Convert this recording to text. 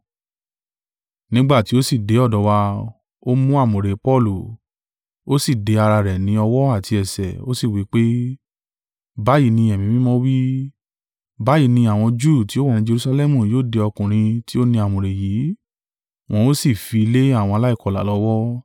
Nígbà tí ó sì dé ọ̀dọ̀ wa, ó mú àmùrè Paulu, ó sì de ara rẹ̀ ní ọwọ́ àti ẹsẹ̀, ó sì wí pé, “Báyìí ni Ẹ̀mí Mímọ́ wí, ‘Báyìí ni àwọn Júù tí ó wà ní Jerusalẹmu yóò de ọkùnrin tí ó ní àmùrè yìí, wọn ó sì fi í lé àwọn aláìkọlà lọ́wọ́.’ ”